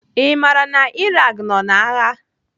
I maara na Iraq nọ n'agha?